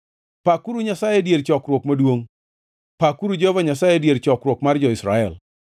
Pakuru Nyasaye e dier chokruok maduongʼ; pakuru Jehova Nyasaye e dier chokruok mar jo-Israel.